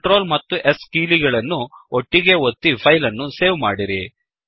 control ಮತ್ತು S ಕೀಲಿಗಳನ್ನು ಒಟ್ಟಿಗೇ ಒತ್ತಿ ಫೈಲ್ ಅನ್ನು ಸೇವ್ ಮಾಡಿರಿ